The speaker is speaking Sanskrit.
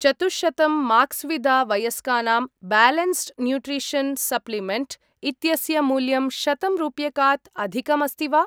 चतुश्शतं माक्स्वीदा वयस्कानां ब्यालेन्स्ड् न्यूट्रिशन् सप्लिमेण्ट् इत्यस्य मूल्यं शतं रूप्यकात् अधिकम् अस्ति वा?